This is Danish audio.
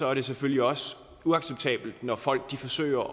er det selvfølgelig også uacceptabelt når folk forsøger